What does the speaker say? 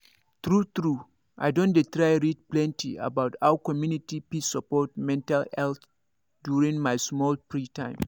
true true i don dey try read plenty about how community fit support mental health during my small free time